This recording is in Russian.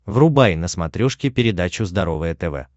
врубай на смотрешке передачу здоровое тв